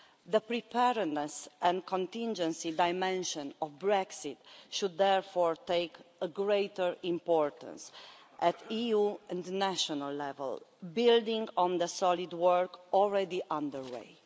The preparedness and contingency dimension of Brexit should therefore assume greater importance at EU and national level, building on the solid work already under way.